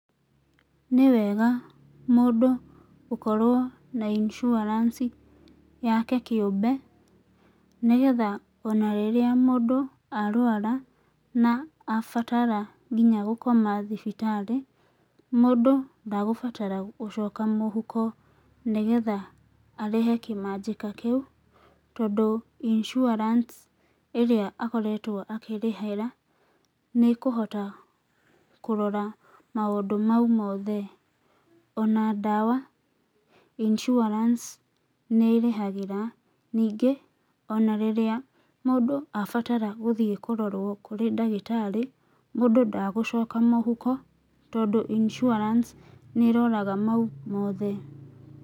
Nĩ wega mũndũ gũkorwo na insuarance yake kĩũmbe nĩgetha ona rĩrĩa mũndũ arwara na abatara kinya gũkoma thibitarĩ, mũndũ ndagũbatara gũcoka mũhuko nĩgetha arĩhe kĩmanjĩka kĩu, tondũ insuarance ĩrĩa akoretwo akĩrĩhĩra nĩ ĩkũhota kũrora maũndũ mau mothe. Ona ndawa insuarance nĩ ĩrĩhagĩra. Ningĩ ona rĩrĩa mũndũ abatara gũthiĩ kũrorwo kũrĩ ndagĩtarĩ, mũndũ ndagũcoka mũhuko tondũ insuarance nĩ ĩroraga mau mothe.